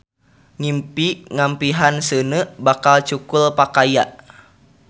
Ngimpi ngampihan seuneu; bakal cukul pakaya.